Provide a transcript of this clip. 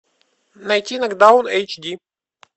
найти нокдаун эйч ди